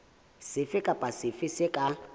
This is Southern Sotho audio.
sefe kapa sefe se ka